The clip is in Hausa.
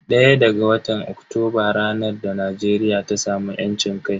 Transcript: ɗaya ga watan Oktoba ranar da Najeriya ta samu yancin kai.